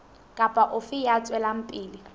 kapa ofe ya tswelang pele